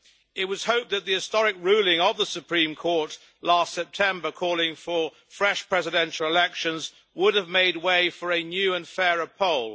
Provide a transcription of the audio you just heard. It was hoped that the historic ruling of the Supreme Court last September calling for fresh presidential elections would have made way for a new and fairer poll.